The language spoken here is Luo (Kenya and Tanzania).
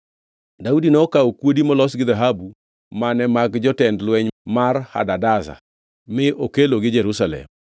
Daudi nokawo kuodi molos gi dhahabu mane mag jotend lweny mar Hadadezer, mi okelogi Jerusalem.